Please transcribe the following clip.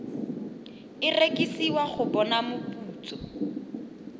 e rekisiwa go bona moputso